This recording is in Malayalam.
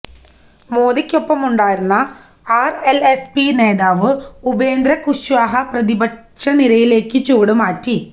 മോദിക്കൊപ്പമുണ്ടായിരുന്ന ആര്എല്എസ്പി നേതാവ് ഉപേന്ദ്ര കുശ്വാഹ പ്രതിപക്ഷ നിരയിലേക്കു ചുവടുമാറ്റി